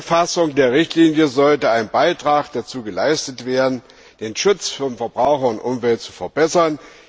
Mit der Neufassung der Richtlinie sollte ein Beitrag dazu geleistet werden, den Schutz von Verbrauchern und Umwelt zu verbessern.